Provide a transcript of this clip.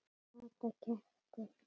Kata gapti.